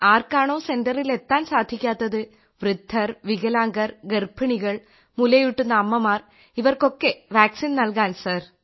ആർക്കാണോ സെന്ററിൽ എത്താൻ സാധിക്കാത്തത് വൃദ്ധർ വികലാംഗർ ഗർഭിണികൾ മുലയൂട്ടുന്ന അമ്മമാർ ഇവർക്ക് വാക്സിൻ നൽകാൻ സർ